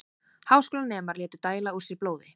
Háskólanemar létu dæla úr sér blóði